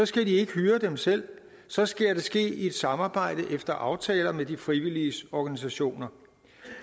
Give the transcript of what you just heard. skal de ikke hyre dem selv så skal det ske i et samarbejde efter aftaler med de frivilliges organisationer